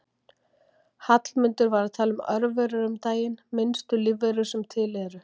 Hallmundur var að tala um örverur um daginn, minnstu lífverur sem til eru.